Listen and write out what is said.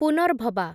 Punarbhaba